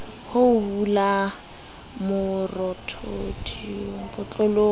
ho hula marothodi botlolong eo